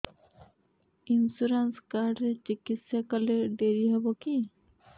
insurance card ରେ ଚିକିତ୍ସା କଲେ ଡେରି ହବକି